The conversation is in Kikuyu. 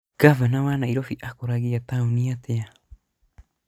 Ngavana wa Nairobi akũragia taũni atĩa?